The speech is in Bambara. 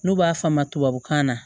N'u b'a f'a ma na